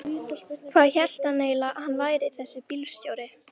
Hvað hélt hann eiginlega að hann væri þessi bílstjóri.